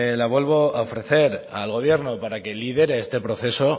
la vuelvo a ofrecer al gobierno para que lidere este proceso